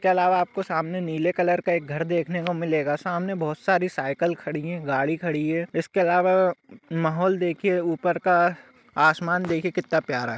इसके अलावा आप को सामने नीले कलर का एक घर देखने को मिलेगा सामने बहोत सारी साइकिल खड़ी है गाड़ी खडी है इसके अलावा माहौल देखिये उपर का आसमान देखिये कितना प्यारा हैं।